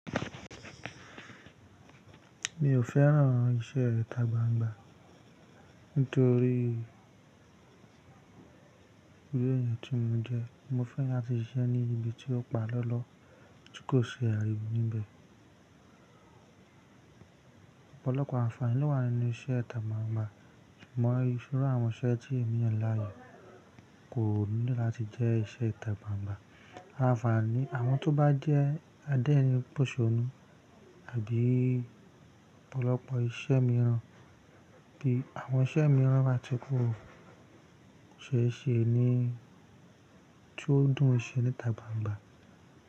Mi ò fẹ́ràn iṣẹ́ ìta gbangba nítorí èèyàn tí mo jẹ́. Mo fẹ́ran la tí ṣiṣẹ́ ní ibi tí ó pa lọ́lọ́ tí kò ṣe àriwo níbẹ̀. Ọ̀pọ̀lọpọ̀ àfààní wà nínú iṣẹ́ ìta gbangba. Mọ iṣẹ́ náà, àwọn iṣẹ́ tí èmi yań láyò ko nilo lati je ise ita gbangba. Ànfààní àwọn tó bá jẹ́ adériním pòṣónú àbí ọ̀pọ̀lọpọ̀ iṣẹ́ mìíràn bí i àwọn iṣẹ́ mìíràn láti kúrò ṣẹ́ ṣẹ ní tí ó dùn ṣe nita gbangba.